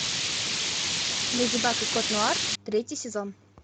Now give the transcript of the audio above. леди баг и кот нуар третий сезон